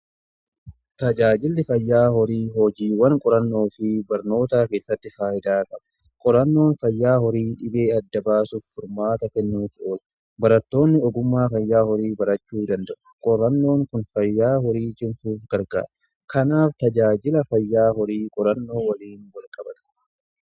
Tajaajilli fayyaa horii hojiiwwan qorannoo fi barnootaa keessatti faayidaa qaba. Qorannoon fayyaa horii dhibee adda baasuuf furmaata kennuuf oola. Barattoonni ogummaa fayyaa horii barachuu danda'u. Qorannoon kun fayyaa horii cimsuuf gargaara. Kanaaf tajaajila fayyaa horii qorannoo waliin walqabata.